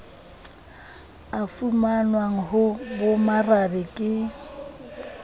a fumanwang ho bomarabe ke